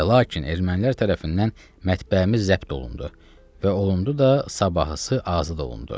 Və lakin ermənilər tərəfindən mətbəhimiz zəbt olundu və olundu da sabahısı azad olundu.